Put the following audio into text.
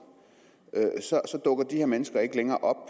dukker de her mennesker ikke længere op og